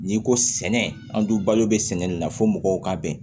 N'i ko sɛnɛ an dun balo bɛ sɛnɛ na fo mɔgɔw ka bɛn